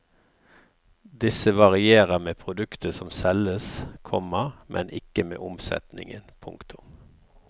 Disse varierer med produktet som selges, komma men ikke med omsetningen. punktum